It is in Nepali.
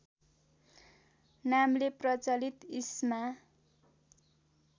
नामले प्रचलित ईस्मा